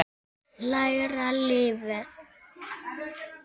Læra lífið.